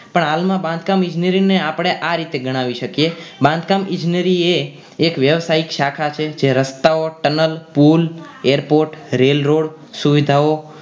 પણ હાલમાં બાંધકામ ઇજનેરી ને આપણે આ રીતે ગણાવી શકીએ બાંધકામ ઇજનેરી એ વ્યવસાયિક શાખા છે જે રસ્તાઓ tunnel પુલ airport rail road સુવિધાઓ